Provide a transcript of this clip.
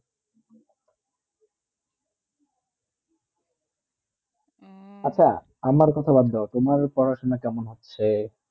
উহ আচ্ছা আমার কথা বাদ দাও তোমার পড়াশোনা কেমন হচ্ছে